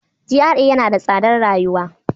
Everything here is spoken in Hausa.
GRA yana da tsadar rayuwa.